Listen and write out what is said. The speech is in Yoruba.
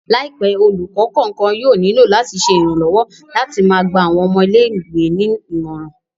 Laipẹ, olukọ kọọkan yóò nilo lati ṣe iranlọwọ lati máa gba awọn ọmọ ìlé-ìwé ni imọran